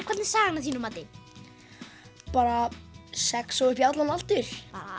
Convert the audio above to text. hvern er sagan að þínu mati bara sex og upp í allan aldur